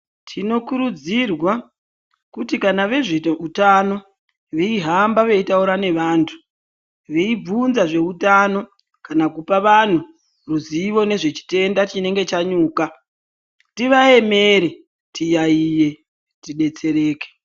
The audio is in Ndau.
Tinokurudzirwa kuti kana vezvehutano veyihamba veyitaura nevantu, veyibvunza zvehutano, kana kupa vanhu ruzivo nezvechitenda chinenge chanyuka, tivayemere tiyayiye tidetsereke.